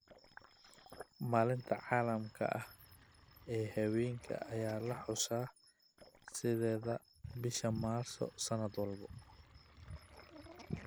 Maalinta caalamiga ah ee haweenka ayaa la xusaa sideedda bishaa Maarso sanad walba.